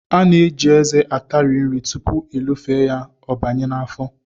A na-eji eze atari nri tupu elofee ya, ọ banye n'afọ